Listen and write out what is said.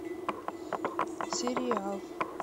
сериал